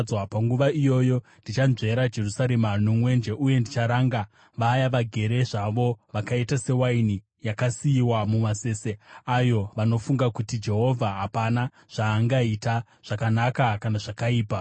Panguva iyoyo ndichanzvera Jerusarema nomwenje; uye ndicharanga vaya vagere zvavo, vakaita sewaini yakasiyiwa mumasese ayo, vanofunga kuti, ‘Jehovha hapana zvaangaita, zvakanaka kana zvakaipa.’